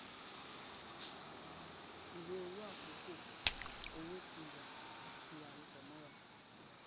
ìwé owó àkókò owó tí wà àti àròpò mọra